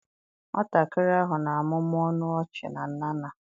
Nwatakịrị ahụ na-amụmụ ọnụ ọchị na Nana.